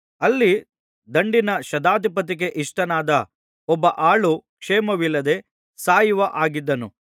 ಅಲ್ಲಿ ದಂಡಿನ ಶತಾಧಿಪತಿಗೆ ಇಷ್ಟನಾದ ಒಬ್ಬ ಆಳು ಕ್ಷೇಮವಿಲ್ಲದೆ ಸಾಯುವ ಹಾಗಿದ್ದನು